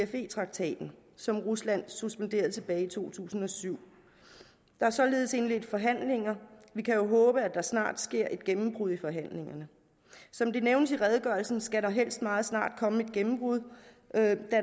cfe traktaten som rusland suspenderede tilbage i to tusind og syv der er således indledt forhandlinger vi kan jo håbe at der snart sker et gennembrud i forhandlingerne som det nævnes i redegørelsen skal der helst meget snart komme et gennembrud da